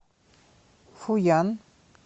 фуян